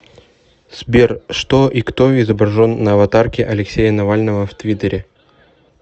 сбер что и кто изображен на аватарке алексея навального в твиттере